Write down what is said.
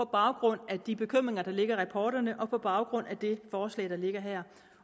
baggrund af de bekymringer der ligger i rapporterne og på baggrund af det forslag der ligger her